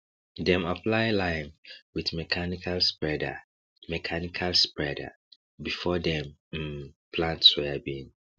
dem apply lime with mechanical spreader mechanical spreader before dem um plant soybean